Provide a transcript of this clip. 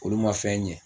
Olu ma fɛn ɲɛ